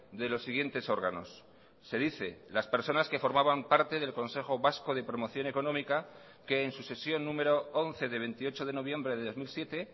de los siguientes órganos se dice las personas que formaban parte del consejo vasco de promoción económica que en su sesión número once de veintiocho de noviembre de dos mil siete